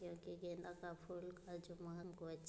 क्योंकि गेंदा का फूल का जो महमक